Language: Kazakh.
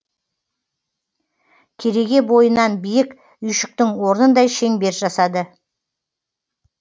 кереге бойынан биік үйшіктің орнындай шеңбер жасады